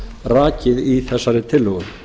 rakið í þessari tillögu